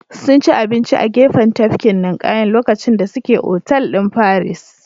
Sunci abinci a gefen tafkin ninƙayan lokacin da suke otal din paris